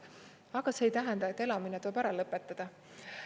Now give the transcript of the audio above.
Aga see ei tähenda, et elamine tuleb ära lõpetada.